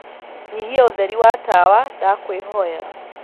nyihia ūtheri wa tawa ndakwīhoya